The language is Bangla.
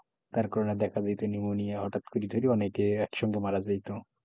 তার কারণে না দেখা দিতো নিউমোনিয়া হঠাৎ করি তৈরি হঠাৎ করে অনেকেই একসঙ্গে মারা যাইতো,